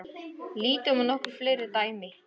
Lítum á nokkur fleiri dæmi.